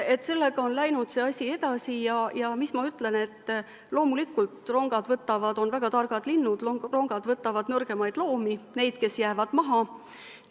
Asi on läinud edasi ja mis ma ütlen: loomulikult on rongad väga targad linnud, võtavad nõrgemaid loomi, neid, kes jäävad maha.